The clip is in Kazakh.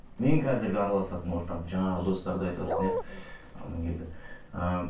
мен қазіргі араласатын ортам жаңағы достарды айтыватсың иә амангелді ы